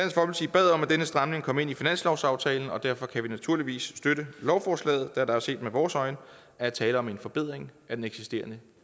bad om at denne stramning kom ind i finanslovsaftalen og derfor kan vi naturligvis støtte lovforslaget da der set med vores øjne er tale om en forbedring af den eksisterende